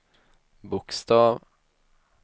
bokstav